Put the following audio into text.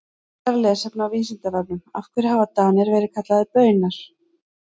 Frekara lesefni á Vísindavefnum Af hverju hafa Danir verið kallaðir Baunar?